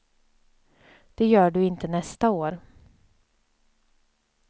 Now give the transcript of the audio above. Det gör du inte nästa år.